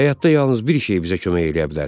Həyatda yalnız bir şey bizə kömək eləyə bilər.